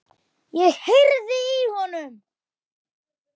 Ég heyrði í honum!